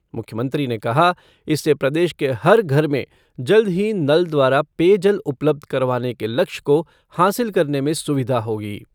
मुख्यमंत्री ने कहा इससे प्रदेश के हर घर में जल्द ही नल द्वारा पेयजल उपलब्ध करवाने के लक्षय को हासिल करने में सुविधा होगी।